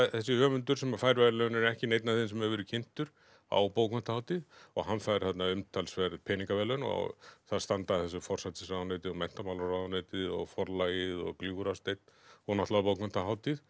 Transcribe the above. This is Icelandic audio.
þessi höfundur sem fær verðlaunin er ekki neinn af þeim sem hefur verið kynntur á bókmenntahátíð og hann fær þarna umtalsverð peningaverðlaun og það standa að þessu forsætisráðuneytið og menntamálaráðuneytið og Forlagið og Gljúfrasteinn og náttúrulega bókmenntahátíð